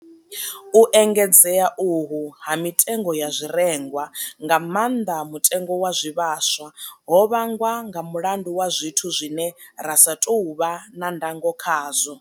U engedzea uhu ha mitengo ya zwirengwa, nga maanḓa mutengo wa zwivhaswa, ho vhangwa nga mulandu wa zwithu zwine ra sa tou vha na ndango khazwo.